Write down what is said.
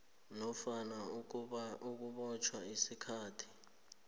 nofana ukubotjhwa isikhathi